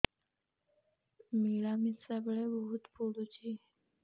ମିଳାମିଶା ବେଳେ ବହୁତ ପୁଡୁଚି